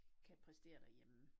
Kan præstere derhjemme